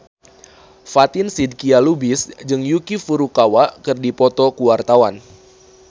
Fatin Shidqia Lubis jeung Yuki Furukawa keur dipoto ku wartawan